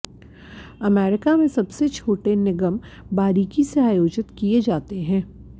America में सबसे छोटे निगम बारीकी से आयोजित किए जाते हैं